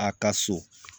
A ka so